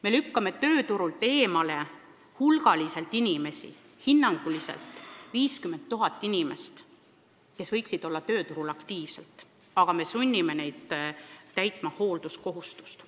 Me lükkame tööturult eemale hulgaliselt inimesi, hinnanguliselt 50 000 inimest, kes võiksid olla tööturul aktiivsed, aga keda me sunnime täitma hoolduskohustust.